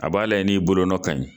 A b'a lajɛ n'i bolonɔ ka ɲi